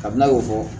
Kabini a y'o fɔ